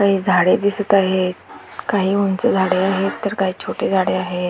काही झाडे दिसत आहे काही उंच झाडे आहे तर काही छोटे झाडे आहे.